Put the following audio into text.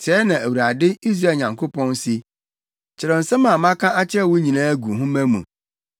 “Sɛɛ na Awurade, Israel Nyankopɔn, se: ‘Kyerɛw nsɛm a maka akyerɛ wo nyinaa gu nhoma mu.